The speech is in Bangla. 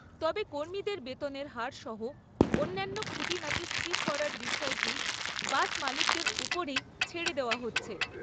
তবে কর্মীদের বেতনের হার সহ অন্যান্য খুঁটিনাটি স্থির করার বিষয়টি বাস মালিকদের ওপরই ছেড়ে দেওয়া হচ্ছে।